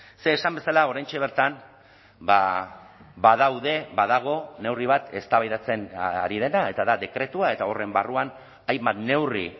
ze esan bezala oraintxe bertan badaude badago neurri bat eztabaidatzen ari dena eta da dekretua eta horren barruan hainbat neurri